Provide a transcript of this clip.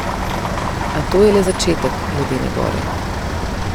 A to je le začetek ledene gore.